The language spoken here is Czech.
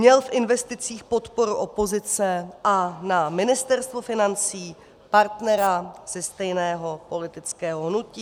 Měl v investicích podporu opozice a na Ministerstvu financí partnera ze stejného politického hnutí.